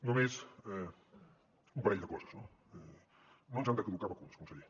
només un parell de coses no no ens han de caducar vacunes conseller